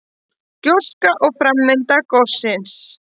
Gjóskan og framvinda gossins.